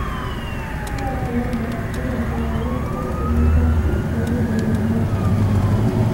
Kowacce yamma, yana sauraron kaɗe-kaɗe na casu don rage damuwa kafin ya kwanta.